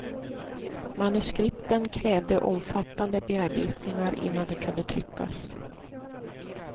Manuskripten krävde omfattande bearbetningar innan de kunde tryckas.